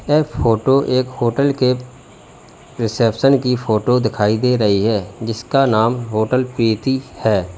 यह फोटो एक होटल के रिसेप्शन की फोटो दिखाई दे रही है जिसका नाम होटल प्रीति है।